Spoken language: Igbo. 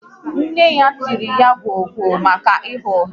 Nne ya tiri ya gwọọ gwo maka ịgha ụgha